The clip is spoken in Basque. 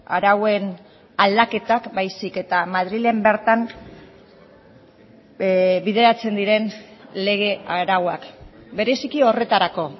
arauen aldaketak baizik eta madrilen bertan bideratzen diren lege arauak bereziki horretarako